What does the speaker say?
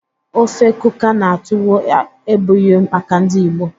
ofe kuka na tuwo ebughi maka ndi Igbo